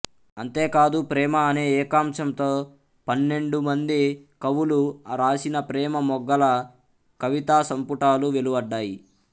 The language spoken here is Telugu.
అంతేకాదు ప్రేమ అనే ఏకాంశంతో పన్నెండుమంది కవులు రాసిన ప్రేమ మొగ్గల కవితాసంపుటాలు వెలువడ్డాయి